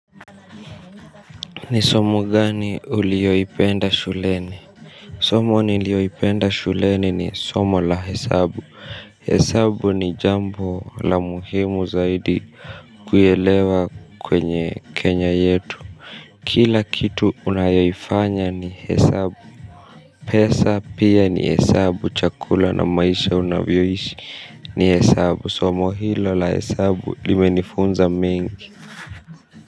Ni somo gani ulioipenda shuleni? Somo nilioipenda shuleni ni somo la hesabu. Hesabu ni jambo la muhimu zaidi kuyelewa kwenye kenya yetu. Kila kitu unayofanya ni hesabu. Pesa pia ni hesabu chakula na maisha unavyoishi ni hesabu. Somo hilo la hesabu limenifunza mengi.